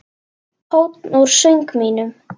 Tónn úr söng mínum.